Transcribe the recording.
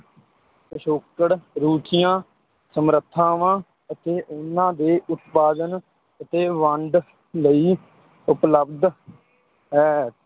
ਪਿਛੋਕੜ, ਰੁਚੀਆਂ, ਸਮਰੱਥਾਵਾਂ, ਅਤੇ ਉਨ੍ਹਾਂ ਦੇ ਉਤਪਾਦਨ ਅਤੇ ਵੰਡ ਲਈ ਉਪਲਬਧ ਹੈ।